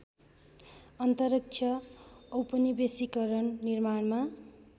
अन्तरिक्ष औपनिवेशीकरण निर्माणमा